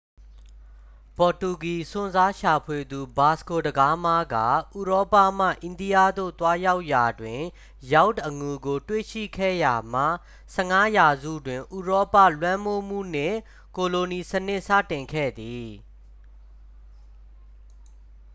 ပေါ်တူဂီ စွန့်စားရှာဖွေသူ ဗာစကို ဒဂါးမား က ဥရောပမှ အိန္ဒိယသို့ သွားရောက်ရာတွင် ရောက်တ် အငူကို တွေ့ရှိခဲ့ရာမှ 15 ရာစုတွင် ဥရောပ လွှမ်းမိုးမှုနှင့် ကိုလိုနီစနစ် စတင်ခဲ့သည်